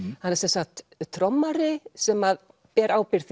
hann er sem sagt trommari sem ber ábyrgð